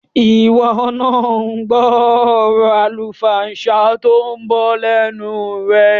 Ìwọ náà gbọ́ ọ̀rọ̀ àlùfàǹsá tó ń bọ́ lẹ́nu rẹ̀.